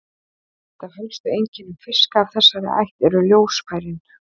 Eitt af helstu einkennum fiska af þessari ætt eru ljósfærin.